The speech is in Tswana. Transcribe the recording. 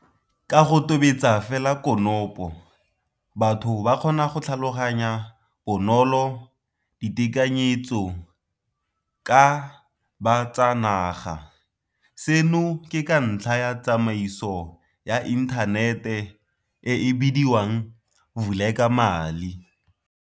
Ka go tobetsa fela konopo, batho ba kgona go tlhaloganya bonolo ditekanyetsoka bo tsa naga, seno ke ka ntlha ya tsamaiso ya inthanete e e bidiwang Vulekamali.